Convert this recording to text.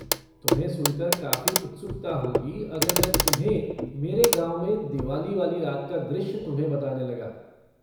तुम्हें सुनकर काफ़ी उत्सुकता होगी अगर मैं तुम्हें मेरे गाँव में दिवाली वाली रात का दृश्य तुम्हें बताने लगा।